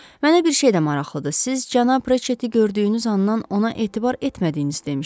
Mənə bir şey də maraqlıdır, siz cənab Reçeti gördüyünüz andan ona etibar etmədiyinizi demişdiz.